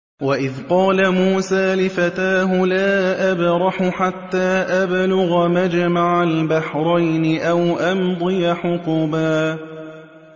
وَإِذْ قَالَ مُوسَىٰ لِفَتَاهُ لَا أَبْرَحُ حَتَّىٰ أَبْلُغَ مَجْمَعَ الْبَحْرَيْنِ أَوْ أَمْضِيَ حُقُبًا